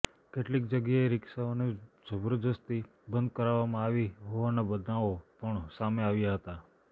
કેટલીક જગ્યાએ રીક્ષાઓને જબરદસ્તી બંધ કરાવવામાં આવી હોવાના બનાવો પણ સામે આવ્યા હતા